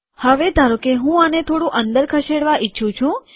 હવે ધારોકે હું આને થોડું અંદર ખસેડવા ઈચ્છું છું